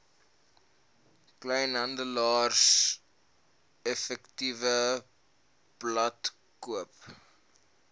rsa kleinhandeleffektewebblad koop